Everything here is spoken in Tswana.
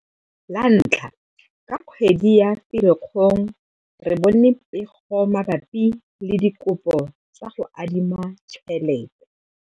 La ntlha, ka kgwedi ya Ferikgong re bone pego mabapi le dikopo tsa go adima tšhelete.